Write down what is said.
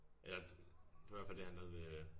Ja det det hvert fald det har noget med